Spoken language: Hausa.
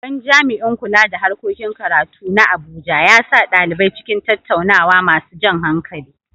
Babban jami’in kula da harkokin karatu na Abuja ya sa ɗalibai cikin tattaunawa masu jan hankali.